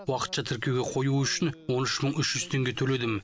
уақытша тіркеуге қою үшін он үш мың үш жүз теңге төледім